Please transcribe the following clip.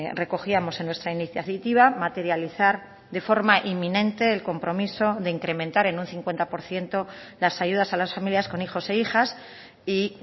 recogíamos en nuestra iniciativa materializar de forma inminente el compromiso de incrementar en un cincuenta por ciento las ayudas a las familias con hijos e hijas y